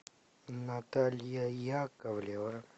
наталья яковлева